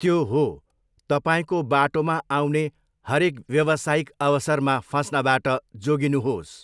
त्यो हो, तपाईँको बाटोमा आउने हरेक व्यवसायिक अवसरमा फस्नबाट जोगिनुहोस्।